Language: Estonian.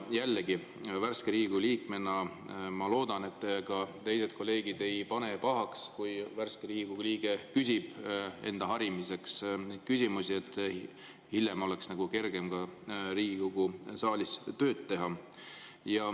Jällegi, värske Riigikogu liikmena ma loodan, et teised kolleegid ei pane pahaks, kui värske Riigikogu liige enda harimiseks neid küsimusi küsib, et hiljem oleks kergem Riigikogu saalis tööd teha.